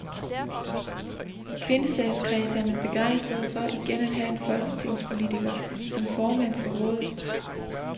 I kvindesagskredse er man begejstrede for igen at have en folketingspolitiker som formand for rådet.